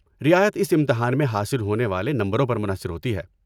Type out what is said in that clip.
رعایت اس امتحان میں حاصل ہونے والے نمبروں پر منحصر ہوتی ہے۔